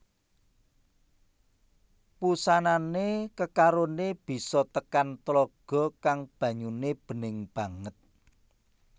Wusanane kekarone bisa tekan tlaga kang banyune bening banget